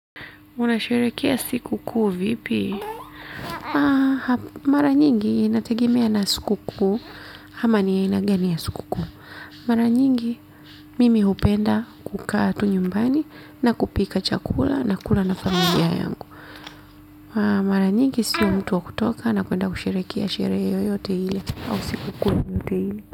Unasherehekea sikukuu vipi? Mara nyingi inategemea na sikukuu ama ni aina gani ya sikukuu mara nyingi mimi hupenda kukaa tu nyumbani na kupika chakula na kula na familia yangu mara nyingi sio mtu wa kutoka na kwenda kusherehekea sherehe yoyote ile au sikukuu yoyote ile.